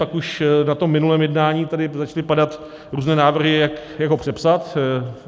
Pak už na tom minulém jednání tady začaly padat různé návrhy, jak ho přepsat.